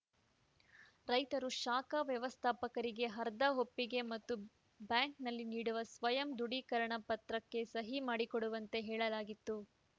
ರೈತರು ಶಾಖಾ ವ್ಯವಸ್ಥಾಪಕರಿಗೆ ಆಧಾರ್‌ ಒಪ್ಪಿಗೆ ಪತ್ರ ಮತ್ತು ಬ್ಯಾಂಕ್‌ನಲ್ಲಿ ನೀಡುವ ಸ್ವಯಂ ದೃಢೀಕರಣ ಪತ್ರಕ್ಕೆ ಸಹಿ ಮಾಡಿಕೊಡುವಂತೆ ಹೇಳಲಾಗಿತ್ತು